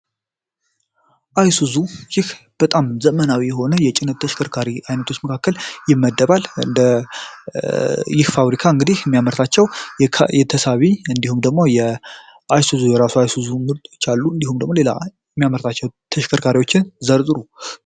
አይሱዙ በጣም ዘመናዊ የሆነ የጭነት መኪና መካከል የሚመደብ እንደ ይፋ እንግዲህ የሚያምርታቸዉ የተሳቢ እንዲሁም ደግሞ የሚያመርታቸው ተሽከርካሪዎችን ዘርዝሩ።